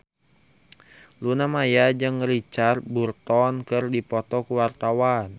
Luna Maya jeung Richard Burton keur dipoto ku wartawan